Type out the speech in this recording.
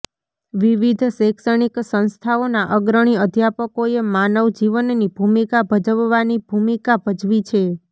વિવિધ શૈક્ષણિક સંસ્થાઓના અગ્રણી અધ્યાપકોએ માનવ જીવનની ભૂમિકા ભજવવાની ભૂમિકા ભજવી છે